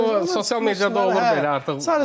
Yəni bu sosial mediada olur belə artıq.